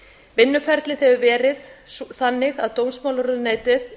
vinnuferlið hefur verið þannig að dómsmálaráðuneytið